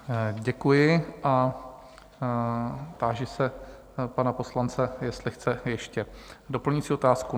Děkuji a táži se pana poslance, jestli chce ještě doplňující otázku?